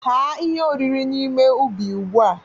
Ghaa ihe oriri n'ime ubi ugbu a!